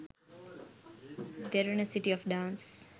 derana city of dance